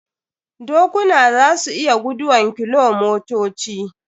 Dokuna za su iya guduwan kilomotoci.